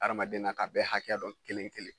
Hadamaden na k'a bɛɛ hakɛ dɔn kelen-kelen